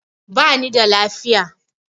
Bani da lafiya